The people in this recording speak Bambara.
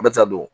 A bɛ taa don